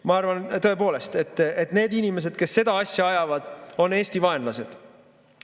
Ma arvan tõepoolest, et need inimesed, kes seda asja ajavad, on Eesti vaenlased.